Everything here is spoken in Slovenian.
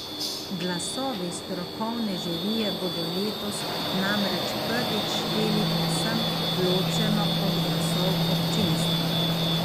Glasovi strokovne žirije bodo letos namreč prvič šteli povsem ločeno od glasov občinstva.